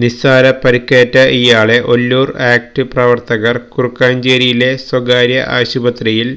നിസാര പരുക്കേറ്റ ഇയാളെ ഒല്ലൂർ ആക്ട്സ് പ്രവർത്തകർ കൂർക്കഞ്ചേരിയിലെ സ്വകാര്യ ആശുപത്രിയിൽ